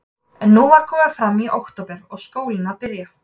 En nú var komið fram í október og skólinn að byrja.